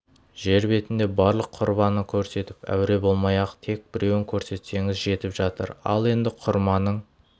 жер бетінде барлық құрманы көрсетіп әуре болмай-ақ тек біреуін көрсетсеңіз жетіп жатыр ал енді құрманың